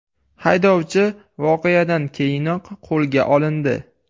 Haydovchi voqeadan keyinoq qo‘lga olindi.